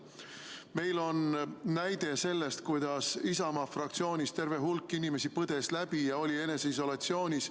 Meil on näide, kuidas Isamaa fraktsioonist terve hulk inimesi põdes haiguse läbi ja oli eneseisolatsioonis.